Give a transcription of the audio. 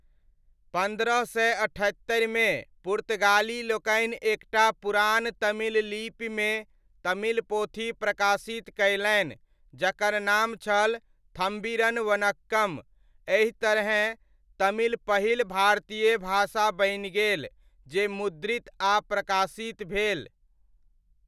पन्द्रह सय अठहत्तरिमे पुर्तगाली लोकनि एक टा पुरान तमिल लिपिमे तमिल पोथी प्रकाशित कयलनि जकर नाम छल 'थम्बिरन वनक्कम ', एहि तरहेँ तमिल पहिल भारतीय भाषा बनि गेल जे मुद्रित आ प्रकाशित भेल।